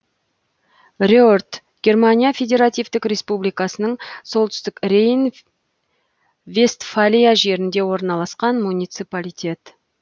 рерт германия федеративтік республикасының солтүстік рейн вестфалия жерінде орналасқан муниципалитет